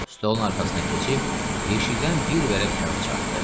Stolun arxasına keçib yeşikdən bir vərəq kağız çıxartdı.